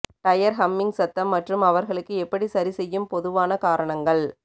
tyre humming சத்தம் மற்றும் அவர்களுக்கு எப்படி சரிசெய்யும் பொதுவான காரணங்கள்